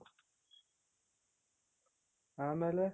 ಆಮೇಲೆ